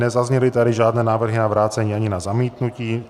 Nezazněly tady žádné návrhy na vrácení ani na zamítnutí.